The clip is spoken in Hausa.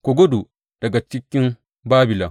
Ku gudu daga cikin Babilon!